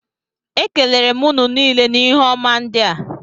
Ekelere m ụnụ niile na ihe ọma ndị a